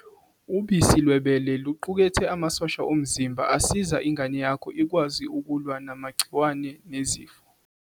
Ubisi lwebele luqukethe amasosha omzimba asiza ingane yakho ikwazi ukulwa namagciwane nezifo.